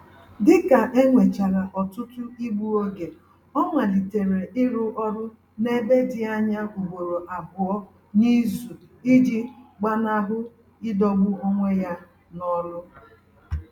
Dịka enwechara ọtụtụ igbu oge, ọ malitere ịrụ ọrụ n'ebe dị anya ugboro abụọ n'izu iji gbanahụ idọgbu onwe ya n'ọlụ